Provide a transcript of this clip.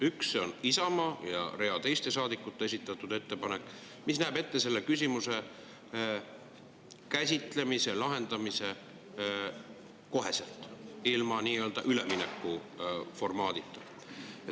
Üks on Isamaa ja rea teiste saadikute esitatud ettepanek, mis näeb ette selle küsimuse lahendamise kohe, ilma nii‑öelda üleminekuformaadita.